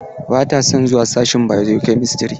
Ba ta son zuwa sashin bio-chemistry.